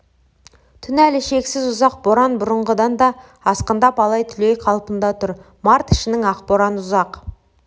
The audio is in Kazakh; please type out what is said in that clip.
түн әлі шексіз ұзақ боран бұрынғыдан да асқындап алай-түлей қалпында тұр март ішінің ақ боран ұзақ